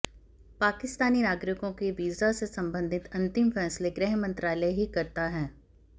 पाकिस्तानी नागरिकों के वीज़ा से संबंधित अंतिम फैसले गृह मंत्रालय ही करता है